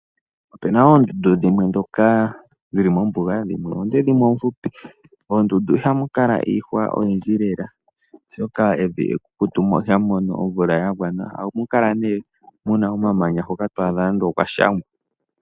Opena oondundu dhimwe dhoka dhili mombuga, dhimwe oonde, dhimwe oofupi. Moondundu ihamu kala iihwa oyindji lela oshoka evi ekukutu, mo ohamu mono omvula ya gwana lela, ohamu kala nee muna omamanya nande okwashangwa.